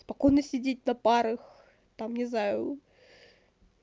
спокойно сидеть на парах там не знаю